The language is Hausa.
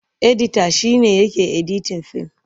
Edita shi ne yake editin fim.